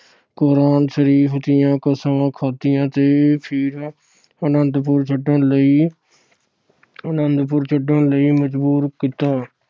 ਕੁਰਾਨ ਸ਼ਰੀਫ਼ ਦੀਆਂ ਕਸਮਾਂ ਖਾਦੀਆਂ ਤੇ ਫਿਰ ਅੰਨਦਪੁਰ ਛੱਡਣ ਲਈ ਅਹ ਅਨੰਦਪੁਰ ਛੱਡਣ ਲਈ ਮਜਬੂਰ ਕੀਤਾ।